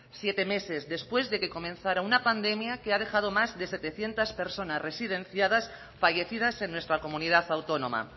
siete meses después de que comenzara una pandemia que ha dejado más de setecientos personas residenciadas fallecidas en nuestra comunidad autónoma